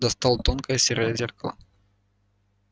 достал тонкое серое зеркало